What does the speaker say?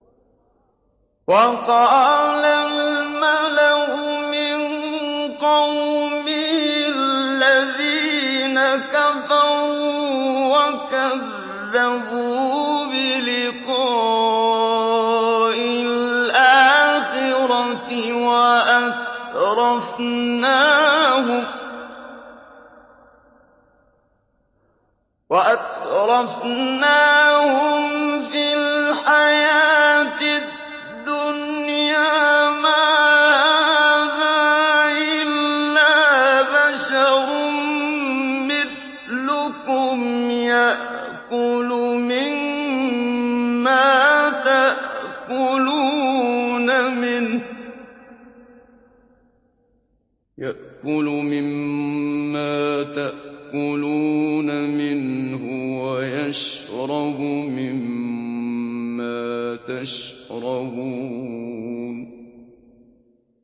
وَقَالَ الْمَلَأُ مِن قَوْمِهِ الَّذِينَ كَفَرُوا وَكَذَّبُوا بِلِقَاءِ الْآخِرَةِ وَأَتْرَفْنَاهُمْ فِي الْحَيَاةِ الدُّنْيَا مَا هَٰذَا إِلَّا بَشَرٌ مِّثْلُكُمْ يَأْكُلُ مِمَّا تَأْكُلُونَ مِنْهُ وَيَشْرَبُ مِمَّا تَشْرَبُونَ